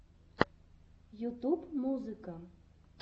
ютуб музыка